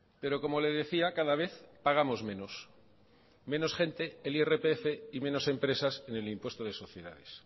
pero como le decía cada vez pagamos menos menos gente el irpf y menos empresas en el impuesto de sociedades